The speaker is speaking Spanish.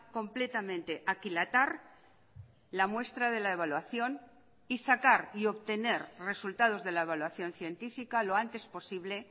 completamente aquilatar la muestra de la evaluación y sacar y obtener resultados de la evaluación científica lo antes posible